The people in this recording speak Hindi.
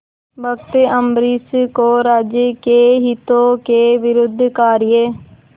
भक्त अम्बरीश को राज्य के हितों के विरुद्ध कार्य